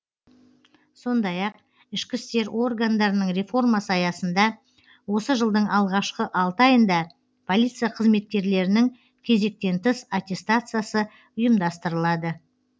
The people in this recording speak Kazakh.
сондай ақ ішкі істер органдарының реформасы аясында осы жылдың алғашқы алты айында полиция қызметкерлерінің кезектен тыс аттестациясы ұйымдастырылады